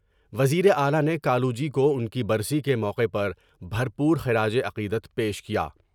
وزیراعلی نے کالو جی کو ان کی برسی کے موقع پر بھر پور خراج عقیدت پیش کیا ۔